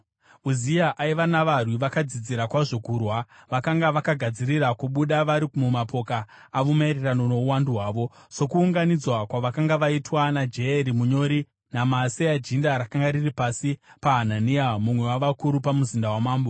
Uzia aiva navarwi vakadzidzira kwazvo kurwa, vakanga vakagadzirira kubuda vari mumapoka avo maererano nouwandu hwavo sokuunganidzwa kwavakanga vaitwa naJeyeri munyori naMaaseya jinda rakanga riri pasi paHanania mumwe wavakuru pamuzinda wamambo.